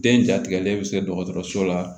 Den jatigɛlen bɛ se dɔgɔtɔrɔso la